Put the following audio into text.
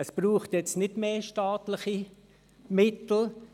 Es braucht jetzt nicht mehr staatliche Mittel.